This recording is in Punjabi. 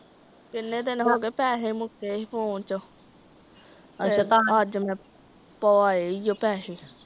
ਕਿੰਨੇ ਦਿਨ ਹੋ ਗਏ ਪੈਸੇ ਮੁੱਕੇ ਸੀ ਫੋਨ ਚੋ। ਅੱਜ ਮਈ ਪਵਾਈ ਆ ਪੈਸੇ